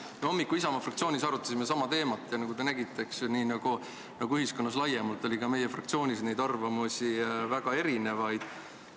Me arutasime hommikul Isamaa fraktsioonis sama teemat ja nagu te nägite, siis nii nagu ühiskonnas laiemalt, oli ka meie fraktsioonis väga erinevaid arvamusi.